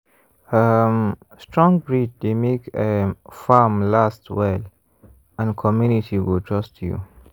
um strong breed dey make um farm last well and community go trust you.